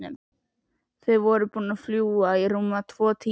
Þau voru búin að fljúga í rúma tvo tíma.